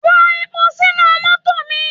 Rọ epo sínú mọ́tò mi!